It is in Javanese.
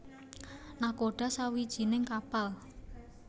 Nakhoda sawijining kapal